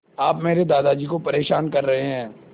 आप मेरे दादाजी को परेशान कर रहे हैं